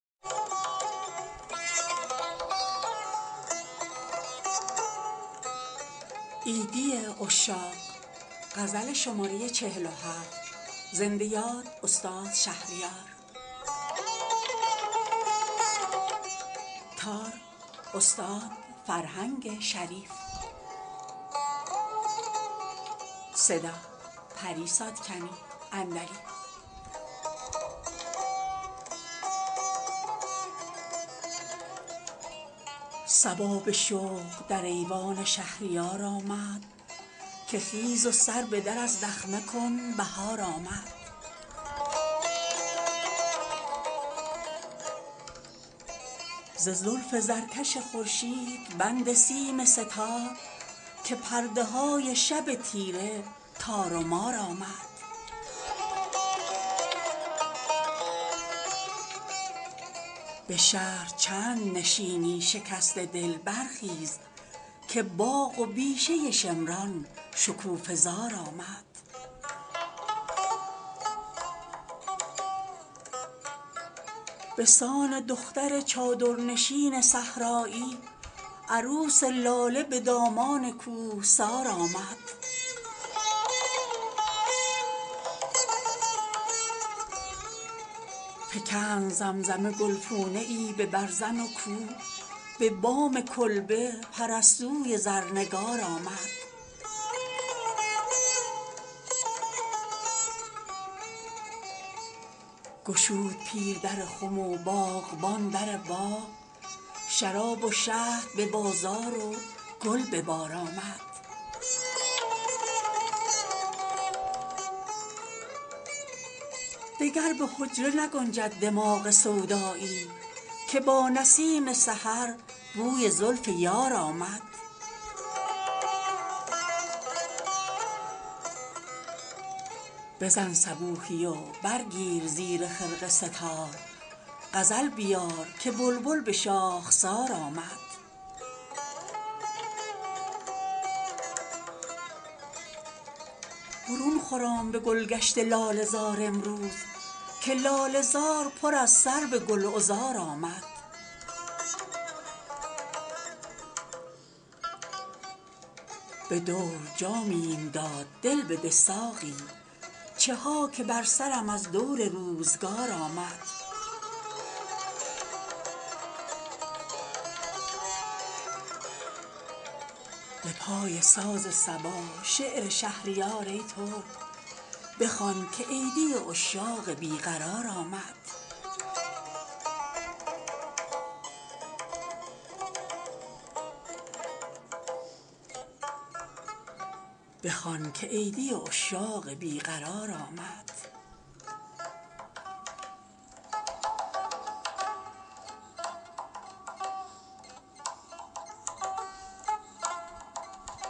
صبا به شوق در ایوان شهریار آمد که خیز و سر به در از دخمه کن بهار آمد ز زلف زرکش خورشید بند سیم سه تار که پرده های شب تیره تار و مار آمد به شهر چند نشینی شکسته دل برخیز که باغ و بیشه شمران شکوفه زار آمد به سان دختر چادرنشین صحرایی عروس لاله به دامان کوهسار آمد فکند زمزمه گلپونه ای به برزن و کو به بام کلبه پرستوی زرنگار آمد گشود پیر در خم و باغبان در باغ شراب و شهد به بازار و گل به بار آمد دگر به حجره نگنجد دماغ سودایی که با نسیم سحر بوی زلف یار آمد بزن صبوحی و برگیر زیر خرقه سه تار غزل بیار که بلبل به شاخسار آمد برون خرام به گلگشت لاله زار امروز که لاله زار پر از سرو گل عذار آمد صبا به هییت گل شد وزیر تبلیغات بیار باده که کابینه روی کار آمد خجسته باد به ایران باستان نوروز که یادگار ز جمشید کامکار آمد چه جای لشگرک ای شاهدان اسکی باز که برف آب شد و کوه اشکبار آمد کنون که بوی گل و مژده سلامت شاه رسید و مرهم دل های داغدار آمد شکفته دار به برگ و نوا یتیمان را که کودکان چمن نیز نونوار آمد به دور جام میم داد دل بده ساقی چه ها که بر سرم از دور روزگار آمد به پای ساز صبا شعر شهریار ای ترک بخوان که عیدی عشاق بی قرار آمد